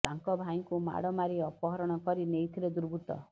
ତାଙ୍କ ଭାଇଙ୍କୂ ମାଡ ମାରି ଅପହରଣ କରି ନେଇଥିଲେ ଦୁର୍ବୃତ୍ତ